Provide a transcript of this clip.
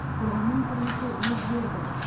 қоғамның тұрмысы өзгерді